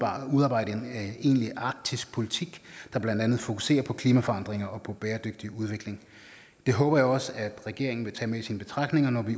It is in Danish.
har udarbejdet en egentlig arktisk politik der blandt andet fokuserer på klimaforandringer og på bæredygtig udvikling det håber jeg også at regeringen vil tage med i sine betragtninger når